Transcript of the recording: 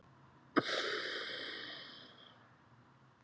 Ég skrapp heim til hans þegar ég var búinn að vinna.